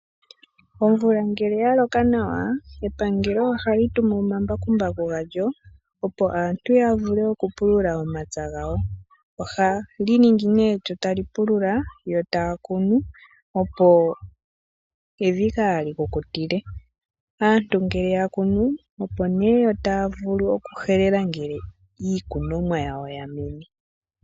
Omvula ngele ya loka nawa epangelo ohali tumu omambakumbaku galyo, opo aantu ya vule okupulula omapya gawo. Ohali ningi nee lyo tali pulula yo taa kunu , opo evi kaa li kukutile. Aantu ngele ya kunu, opo nee yo taa vulu okuhelela ngele iikunomwa yawo ya mene.